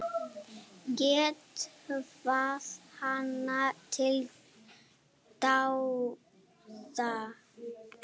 Get hvatt hana til dáða.